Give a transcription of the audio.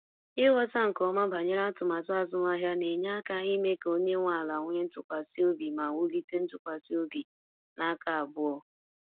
Ighọta nke ọma banyere atụmatụ azụmahịa na-enye aka ime ka onye nwe ala nwee ntụkwasị obi ma wulite ntụkwasị obi n’aka abụọ.